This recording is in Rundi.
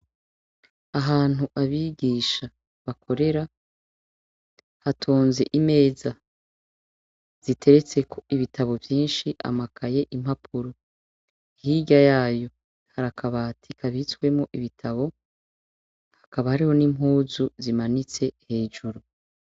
Ahantu abigisha bakorera hatonze imeza ziteretseko ibitabo vyinshi amakaye impapuro hirya yayo hari akabati kabitswemo ibitabo hakaba hariho n' impuzu zimanitse hejuru.